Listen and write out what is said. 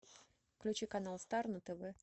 включи канал стар на тв